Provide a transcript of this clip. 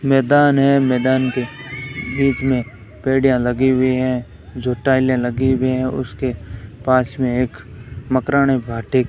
मैदान है मैदान के बीच में बेड़ियां लगी हुई हैं जो टाइलें लगी हुई है उसके पास में एक मकरानी भाटी --